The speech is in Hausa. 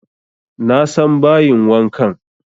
Na san bayin wankan